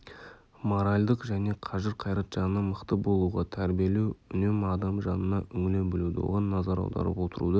моральдық және қажыр-қайрат жағынан мықты болуға тәрбиелеу үнемі адам жанына үңіле білуді оған назар аударып отыруды